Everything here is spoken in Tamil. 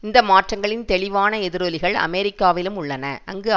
இந்த மாற்றங்களின் தெளிவான எதிரொலிகள் அமெரிக்காவிலும் உள்ளன அங்கு